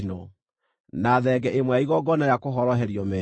na thenge ĩmwe ya igongona rĩa kũhoroherio mehia;